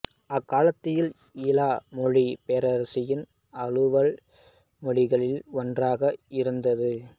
அக்காலத்தில் ஈல மொழி பேரரசின் அலுவல் மொழிகளில் ஒன்றாக இருந்தது